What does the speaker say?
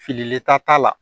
Fililen ta t'a la